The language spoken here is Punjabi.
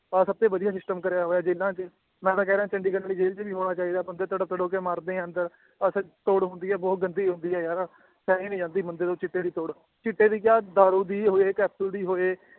ਆਹ ਸਭ ਤੋਂ ਵਧੀਆ system ਕਰਿਆ ਹੋਇਆ ਜੇਲ੍ਹਾਂ ਚ, ਮੈਂ ਤਾਂ ਕਹਿ ਰਿਹਾਂ ਚੰਡੀਗੜ੍ਹ ਵਾਲੀ ਜੇਲ੍ਹ ਚ ਵੀ ਹੋਣਾ ਚਾਹੀਦਾ ਬੰਦੇ ਤੜਪ ਤੜਪ ਕੇ ਮਰਦੇ ਹੈ ਅੰਦਰ ਤੋੜ ਹੁੰਦੀ ਹੈ ਬਹੁਤ ਗੰਦੀ ਹੁੰਦੀ ਹੈ ਯਾਰ ਸਹੀ ਨੀ ਜਾਂਦੀ ਬੰਦੇ ਤੋਂ ਚਿੱਟੇ ਦੀ ਤੋੜ, ਚਿੱਟੇ ਦੀ ਕਿਆ ਦਾਰੂ ਦੀ ਹੋਏ ਕੈਪਸੂਲ ਦੀ ਹੋਏ